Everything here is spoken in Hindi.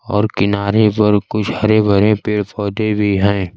और किनारे पर कुछ हरे भरे पेड़ पौधे भी हैं।